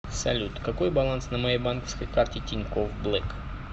салют какой баланс на моей банковской карте тинькофф блэк